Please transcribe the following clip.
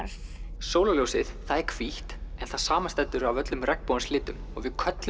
sólarljósið er hvítt en það samanstendur af öllum regnbogans litum og við köllum